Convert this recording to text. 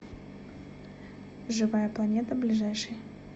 живая планета ближайший